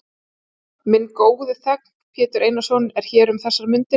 Minn góði þegn, Pétur Einarsson, er hér um þessar mundir.